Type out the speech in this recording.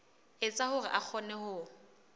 etsa hore a kgone ho